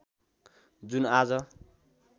जुन आज